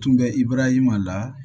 Tun bɛ ibarahimada